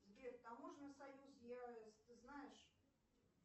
сбер таможенный союз я ты знаешь